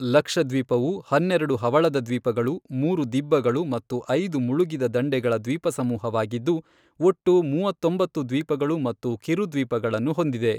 ಲಕ್ಷದ್ವೀಪವು ಹನ್ನೆರಡು ಹವಳದ್ವೀಪಗಳು, ಮೂರು ದಿಬ್ಬಗಳು ಹಾಗೂ ಐದು ಮುಳುಗಿದ ದಂಡೆಗಳ ದ್ವೀಪಸಮೂಹವಾಗಿದ್ದು, ಒಟ್ಟು ಮೂವತ್ತೊಂಬತ್ತು ದ್ವೀಪಗಳು ಮತ್ತು ಕಿರುದ್ವೀಪಗಳನ್ನು ಹೊಂದಿದೆ.